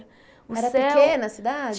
Era pequena a cidade?